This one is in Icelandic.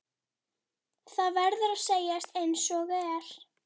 Það verður að segjast einsog er.